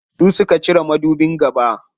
Su suka cire madubin gaba.